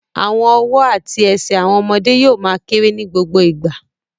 Àwọn ọwọ́ àti ẹsẹ̀ àwọn ọmọdé yóò ma kérè ní gbogbo ìgbà